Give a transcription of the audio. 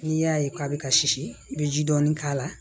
N'i y'a ye k'a bɛ ka sisi i bɛ ji dɔɔni k'a la